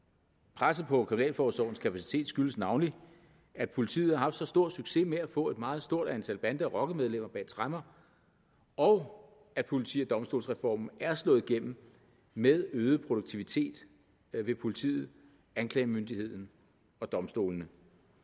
presset på kriminalforsorgens kapacitet skyldes navnlig at politiet har haft så stor succes med at få et meget stort antal bande og rockermedlemmer bag tremmer og at politi og domstolsreformen er slået igennem med øget produktivitet ved politiet anklagemyndigheden og domstolene